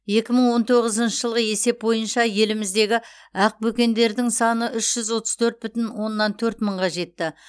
екі мың он тоғызыншы жылғы есеп бойынша еліміздегі ақбөкендердің саны үш жүз отыз төрт бүтін оннан төрт мыңға жетті